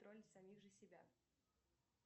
тролль самих же себя